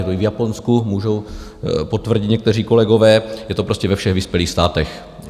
Je to i v Japonsku, můžou potvrdit někteří kolegové, je to prostě ve všech vyspělých státech.